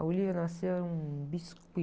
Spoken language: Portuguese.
A Olívia nasceu, era um biscuit.